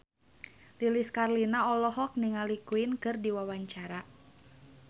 Lilis Karlina olohok ningali Queen keur diwawancara